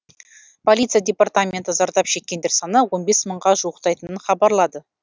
полиция департаменті зардап шеккендер саны он бес мыңға жуықтайтынын хабарлады